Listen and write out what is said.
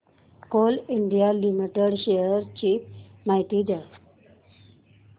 Coal India limited shares ची माहिती द्या